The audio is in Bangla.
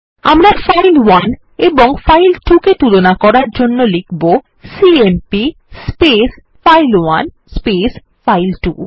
আমরা ফাইল1 এবং ফাইল2 কে তুলনা করার জন্য লিখব সিএমপি ফাইল1 ফাইল2